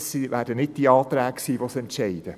Es werden nicht die Anträge sein, die dies entscheiden.